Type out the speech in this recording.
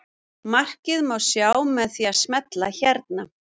Markið má sjá með því að smella hérna.